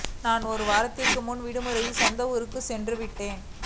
நான் ஒரு வாரத்திற்கு முன்பு விடுமுறையில் சொந்த ஊருக்கு சென்றுவிட்டேன்